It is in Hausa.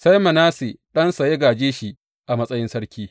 Sai Manasse ɗansa ya gāje shi a matsayin sarki.